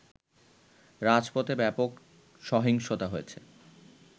রাজপথে ব্যাপক সহিংসতা হয়েছে